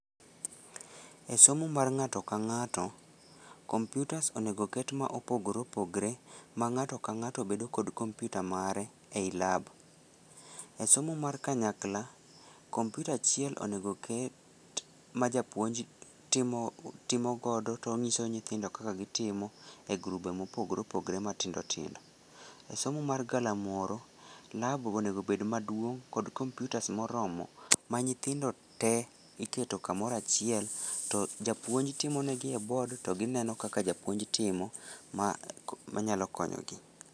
E somo mar ng'ato ka ng'ato computers onego ket mopogore opogre ma ng'ato ka ng'ato bedo kod computer mare e lab. E somo mar kanyakla komputa achiel onego ket ma japuonj timo timo godo tong'iso nyithindo kaka gitimo e grube mopogore popogore matindo tindo. Somo mar galamoro lab onego bed maduong' kod computers moromo ma nyithindo tee iketo kamoro achiel to japuonj timone gi e board to gineno kaka japuonj timo ma manyalo konyo gi.